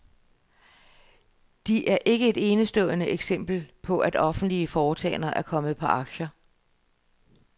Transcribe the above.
De er ikke et enestående eksempel på at offentlige foretagender er kommet på aktier.